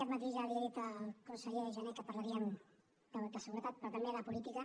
aquest matí ja li he dit al conseller jané que parlaríem de seguretat però també de política